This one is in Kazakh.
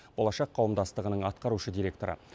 болашақ қауымдастығының атқарушы директоры